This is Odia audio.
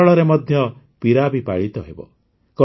କେରଳରେ ମଧ୍ୟ ପିରାବୀ ପାଳିତ ହେବ